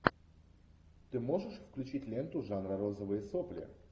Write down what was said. ты можешь включить ленту жанра розовые сопли